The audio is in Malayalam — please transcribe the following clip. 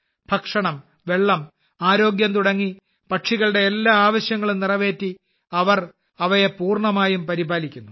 ഭക്ഷണം വെള്ളം ആരോഗ്യം തുടങ്ങി പക്ഷികളുടെ എല്ലാ ആവശ്യങ്ങളും നിറവേറ്റി അവർ അവയെ പൂർണ്ണമായും പരിപാലിക്കുന്നു